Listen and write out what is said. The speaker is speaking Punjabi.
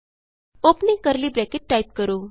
ਔਪਨਿੰਗ ਕਰਲੀ ਬਰੈਕਟ ਟਾਈਪ ਕਰੋ